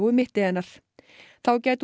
mitti hennar þá gæti hún